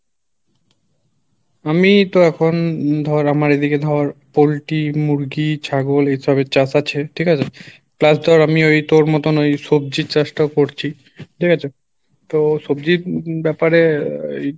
আমি তো এখন উম ধর আমার এদিকে ধর পোল্টি মুরগি ছাগল এইসবের চাষ আছে, ঠিক আছে? plus তোর আমি ওই তোর মতন ওই সবজির চাষ টা করছি, ঠিক আছে? তো সবজির ব্যাপারে